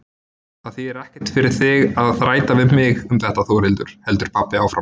Það þýðir ekkert fyrir þig að þræta við mig um þetta Þórhildur, heldur pabbi áfram.